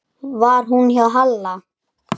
Var hún hjá Halla?